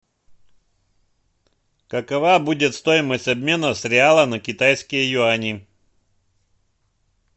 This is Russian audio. какова будет стоимость обмена с реала на китайские юани